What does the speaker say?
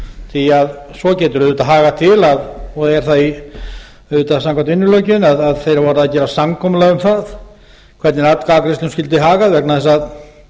því að svo getur auðvitað hagað til og er það auðvitað samkvæmt vinnulöggjöfinni að þeir hafi orðið að gera samkomulag um það hvernig atkvæðagreiðslum skyldi hagað vegna þess að